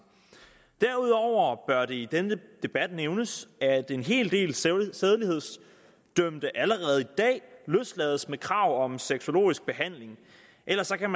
derudover bør det i denne debat nævnes at en hel del sædelighedsdømte allerede i dag løslades med krav om sexologisk behandling ellers kan